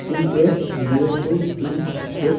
T S zero two T --